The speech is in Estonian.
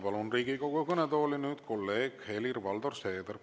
Palun nüüd Riigikogu kõnetooli kolleeg Helir‑Valdor Seederi.